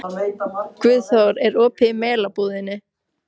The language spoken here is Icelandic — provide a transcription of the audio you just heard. Guðþór, er opið í Melabúðinni?